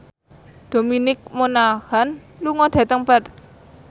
Dominic Monaghan lunga dhateng Perth